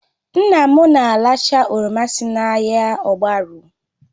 Nna m na-aracha oroma si n'ahịa ogbaru